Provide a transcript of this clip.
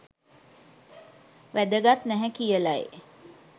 වැදගත් නැහැ කියලයි